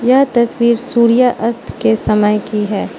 यह तस्वीर सूर्यास्त के समय की है।